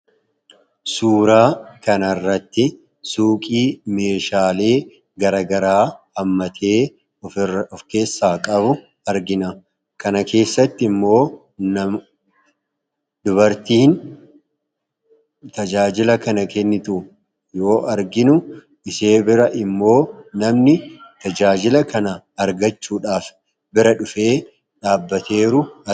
Suuraa kanarratti suuqii meeshaalee garaagaraa hammatee of keessaa qabu argina. Akkasumas suuqii kana keessattimmoo nama dubartiin tajaajila kana kennitu yoo arginu ishee bira ammoo namni tajaajila kana argachuudhaaf bira dhufee dhaabbachaa jiru argina.